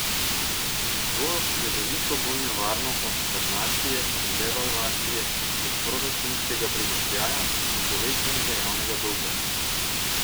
In to je veliko bolj nevarno od stagnacije in devalvacije, od proračunskega primanjkljaja in povečanega javnega dolga.